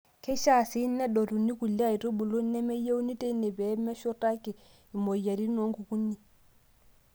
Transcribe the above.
Keishaa sii nedotuni kulie aitubulu nemeyieuni teine pee meshurtaki imoyiaritin o nkukuni.